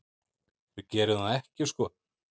Við gerum það ekki sko.